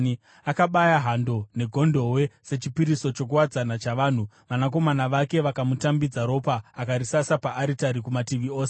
Akabaya hando negondobwe sechipiriso chokuwadzana chavanhu. Vanakomana vake vakamutambidza ropa akarisasa paaritari kumativi ose.